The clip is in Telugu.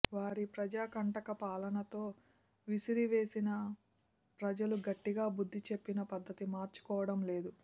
వారి ప్రజాకంటక పాలనతో విసిగివేసారిన ప్రజలు గట్టిగా బుద్ధి చెప్పినా పద్ధతి మార్చుకోవడం లేదు